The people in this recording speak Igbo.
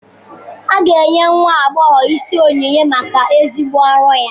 A ga-enye nwa agbọghọ isi onyinye maka ezigbo ọrụ ya.